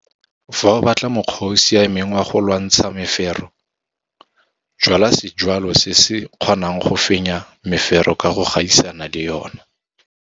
Fa o batla mokgwa o o siameng wa go lwantsha mefero, jwala sejwalwa se se kgonang go fenya mefero ka go gaisana le yona.